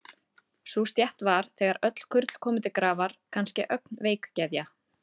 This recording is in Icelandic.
Sú stétt var, þegar öll kurl komu til grafar, kannske ögn veikgeðja.